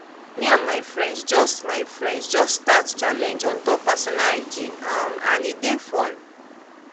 me and my friends just my friends just start challenge on top personal hygiene um and e dey fun